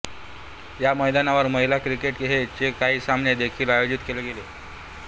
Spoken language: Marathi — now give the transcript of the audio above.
या मैदानावर महिला क्रिकेट चे काही सामने देखील आयोजित केले गेले